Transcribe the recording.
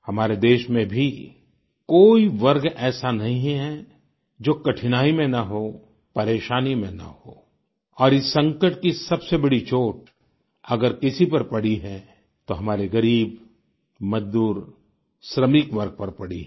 हमारे देश में भी कोई वर्ग ऐसा नहीं है जो कठिनाई में न हो परेशानी में न हो और इस संकट की सबसे बड़ी चोट अगर किसी पर पड़ी है तो हमारे गरीब मजदूर श्रमिक वर्ग पर पड़ी है